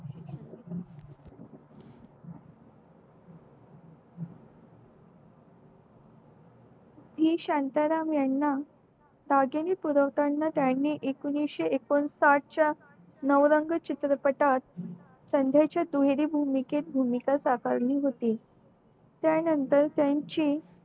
हि शांता राम याना पुरवताना त्यानी एकोणीशे एकोणसाठ च्या नवरंग चित्रपटात संदेच्या दुहेरी भागात भूमिका स्वीकारली त्या नंतर त्याची